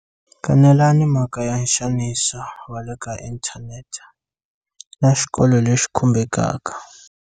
Kanelani mhaka ya nxaniso wa le ka inthanete na xikolo lexi khumbekaka.